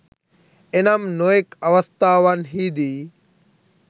එනම් නොයෙක් අවස්ථාවන්හිදී